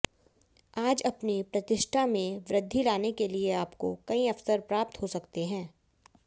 आज अपनी प्रतिष्ठा में वृद्धि लाने के लिए आपको कई अवसर प्राप्त हो सकते हैं